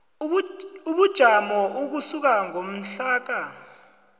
ubujamo ukusuka ngomhlaka